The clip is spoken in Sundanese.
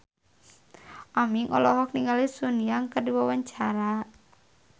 Aming olohok ningali Sun Yang keur diwawancara